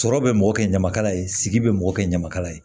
Sɔrɔ bɛ mɔgɔ kɛ ɲamakala ye sigi bɛ mɔgɔ kɛ ɲamakala ye